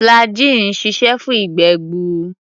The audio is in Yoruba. Flagggyl ń ṣiṣẹ́ fún ìgbé-gbuur.